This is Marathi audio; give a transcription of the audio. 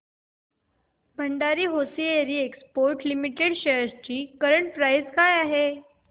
Bhandari hosiery exports limited shares ची करंट प्राइस काय आहे